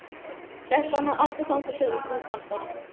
Settu hana aftur þangað sem þú fannst hana.